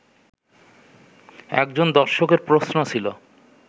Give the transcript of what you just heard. একজন দর্শকের প্রশ্ন ছিল